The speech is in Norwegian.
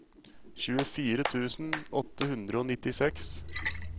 tjuefire tusen åtte hundre og nittiseks